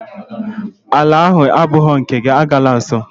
Ala ahụ agbụghị nke gị, agala nsọ!